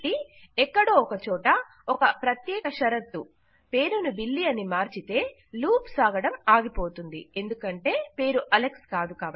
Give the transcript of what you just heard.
కాబట్టి ఎక్కడో ఒక చోట ఒక ప్రత్యేక షరతు పేరును బిల్లీ అని మార్చితే లూప్ సాగడం ఆగిపోతుంది ఎందుకంటే పేరు అలెక్స్ కాదు